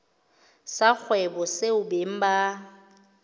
sa kgwebo seo beng ba